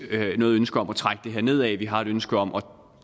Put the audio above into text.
ønske om at trække det her nedad vi har et ønske om at